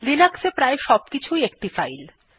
Linux এ প্রায় সবকিছু ই একটি ফাইল